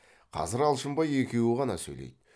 қазір алшынбай екеуі ғана сөйлейді